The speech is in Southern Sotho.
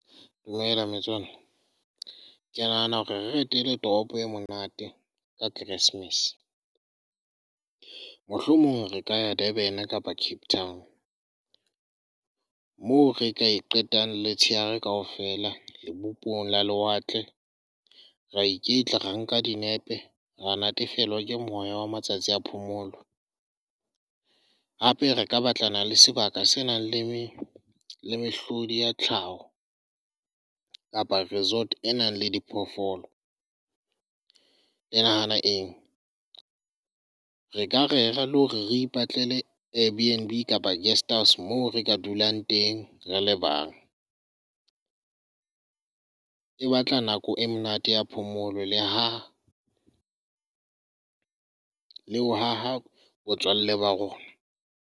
Dumela metswalle, ke nahana hore re etele toropo e monate ka Keresmese, mohlomong re ka ya Durban kapa Cape Town moo re ka e qetang letshehare kaofela. Lebopong la lewatle, ra iketle ra nka dinepe, ra natefelwa ke moya wa matsatsi a phomolo. Hape re ka batlana le sebaka se nang Le mehlodi ya tlhaho kapa resort e nang le di phoofolo. Le nahana eng? re ka rera le hore re ipatlele a Airbnb kapa guest house moo re ka dulang teng rele bang. E batla nako e monate ya phomolo le ho haha botswalle ba rona.